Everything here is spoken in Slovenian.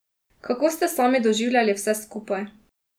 Kako ste sami doživljali vse skupaj?